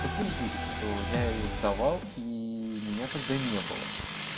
подтвердили что я её сдавал и меня тогда не было